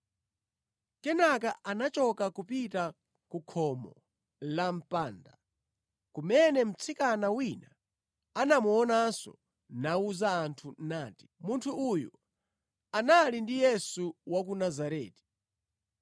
Kenaka anachoka kupita ku khomo la mpanda, kumene mtsikana wina anamuonanso nawuza anthu nati, “Munthu uyu anali ndi Yesu wa ku Nazareti.”